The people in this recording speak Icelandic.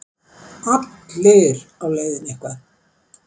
Allir á leiðinni eitthvað.